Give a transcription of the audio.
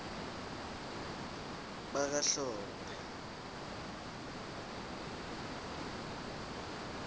bakahlophe